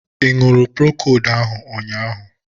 Ị ṅụrụ Procold ahu ụnyaahụ?